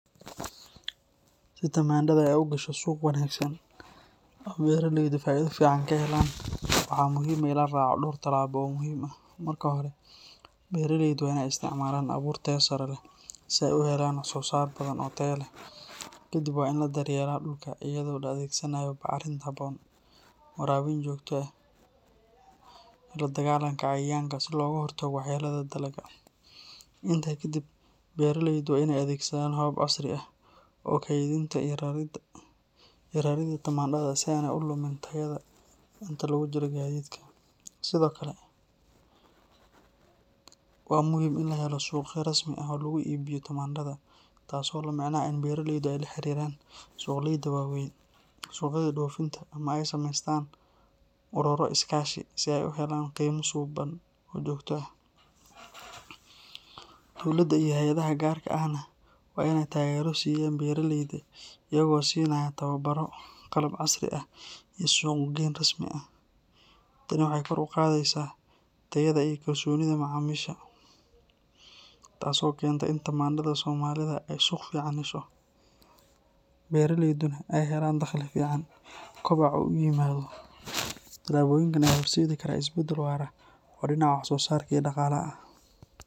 Si tamandhada ay u gasho suuq wanaagsan oo ay beraleydu faa’iido fiican ka helaan, waxaa muhiim ah in la raaco dhowr tallaabo oo muhiim ah. Marka hore, beraleydu waa in ay isticmaalaan abuur tayo sare leh si ay u helaan wax-soosaar badan oo tayo leh. Ka dib, waa in la daryeelaa dhulka iyada oo la adeegsanayo bacrimin habboon, waraabin joogto ah iyo la dagaallanka cayayaanka si looga hortago waxyeellada dalagga. Intaa ka dib, beraleydu waa in ay adeegsadaan habab casri ah oo kaydinta iyo rarida tamandhada si aanay u lumin tayada inta lagu jiro gaadiidka. Sidoo kale, waa muhiim in la helo suuqyo rasmi ah oo lagu iibiyo tamandhada, taas oo la micno ah in beraleydu ay la xiriiraan suuqleyda waaweyn, suuqyada dhoofinta ama ay sameystaan ururo iskaashi si ay u helaan qiimo suuban oo joogto ah. Dowladda iyo hay’adaha gaarka ahna waa in ay taageero siiyaan beraleyda iyaga oo siinaya tababaro, qalab casri ah iyo suuq-geyn rasmi ah. Tani waxay kor u qaadaysaa tayada iyo kalsoonida macaamiisha, taas oo keenta in tamandhada Soomaalida ay suuq fiican hesho, beraleyduna ay helaan dakhli fiican, kobocna uu yimaado. Tallaabooyinkan ayaa horseedi kara isbeddel waara oo dhinaca wax-soosaarka iyo dhaqaalaha ah.